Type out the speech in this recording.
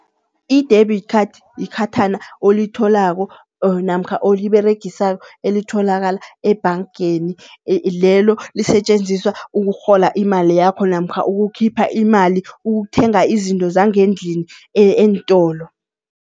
I-debit card yikhathana olitholako or namkha oliberegisa elitholakala ebhangeni, lelo lisetjenziswa ukurhola imali yakho namkha ukukhipha imali, ukuthenga izinto zangendlini eentolo.